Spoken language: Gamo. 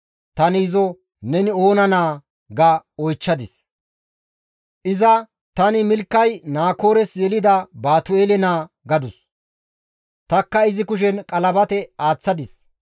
«Tani izo, ‹Neni oona naa?› ga oychchadis. «Iza, ‹Tani Milkay Naakoores yelida Baatu7eele naa› gadus. «Tanikka izi kushen qalabate aaththadis.